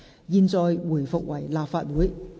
現在回復為立法會。